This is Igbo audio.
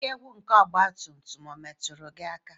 Ike gwụ nke ọgba tum tum metụrụ gị aka?